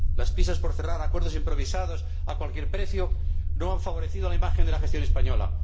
Las prisas por cerrar acuerdos improvisados a cualquier precio no han favorecido la imagen de la gestión española.